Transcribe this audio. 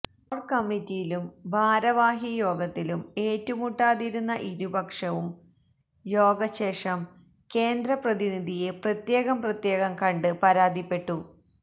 കോര്കമ്മിറ്റിയിലും ഭാരവാഹിയോഗത്തിലും ഏറ്റുമുട്ടാതിരുന്ന ഇരുപക്ഷവും യോഗശേഷം കേന്ദ്ര പ്രതിനിധിയെ പ്രത്യേകം പ്രത്യേകം കണ്ട് പരാതിപ്പെട്ടു